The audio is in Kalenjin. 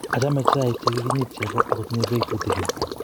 achame chaik che kikinyit chego aku tinye beek tutegen